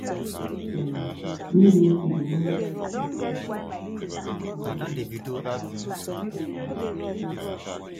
natural family planning need make you dey monitor yourself steady so e go match your personal personal belief.